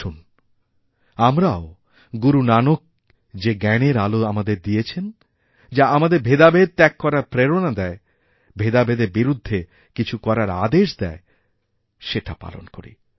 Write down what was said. আসুন আমরাও গুরু নানক যে জ্ঞানের আলো আমাদের দিয়েছেন যাআমাদের ভেদাভেদ ত্যাগ করার প্রেরণা দেয় ভেদাভেদের বিরুদ্ধে কিছু করার আদেশ দেয়সেটা পালন করি